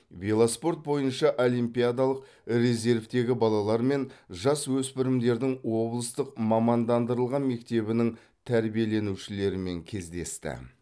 велоспорт бойынша олимпиадалық резервтегі балалар мен жасөспірімдердің облыстық мамандандырылған мектебінің тәрбиеленушілерімен кездесті